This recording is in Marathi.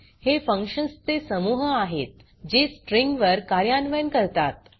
हे फंक्शन्स् चे समूह आहेत जे स्ट्रिँग वर कर्यान्वयन करतात